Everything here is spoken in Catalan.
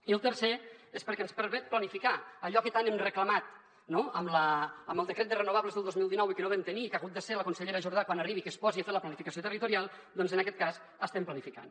i el tercer és perquè ens permet planificar allò que tant hem reclamat amb el de·cret de renovables del dos mil dinou i que no vam tenir i que ha hagut de ser la consellera jor·dà quan arribi que es posi a fer la planificació territorial doncs en aquest cas estem planificant